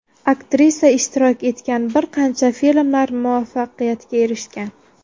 Aktrisa ishtirok etgan bir qancha filmlar muvaffaqiyatga erishgan.